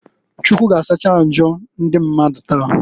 Chukwu g'asacha mmadụ njọ taa.